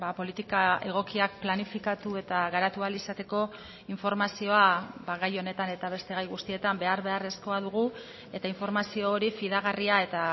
politika egokiak planifikatu eta garatu ahal izateko informazioa gai honetan eta beste gai guztietan behar beharrezkoa dugu eta informazio hori fidagarria eta